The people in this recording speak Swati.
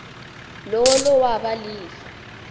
lowo lowaba lifa